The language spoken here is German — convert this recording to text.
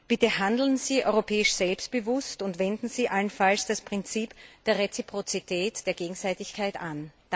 Bitte handeln Sie europäisch selbstbewusst, und wenden Sie allenfalls das Prinzip der Reziprozität, der Gegenseitigkeit, an.